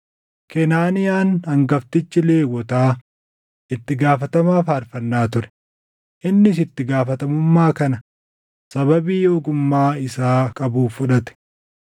Kenaaniyaan hangaftichi Lewwotaa itti gaafatamaa faarfannaa ture; innis itti gaafatamummaa kana sababii ogummaa isaa qabuuf fudhate.